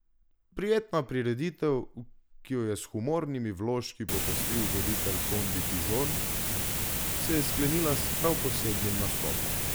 Prijetna prireditev, ki jo je s humornimi vložki popestril voditelj Kondi Pižorn, se je sklenila s prav posebnim nastopom.